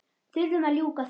Þurfum að ljúka því.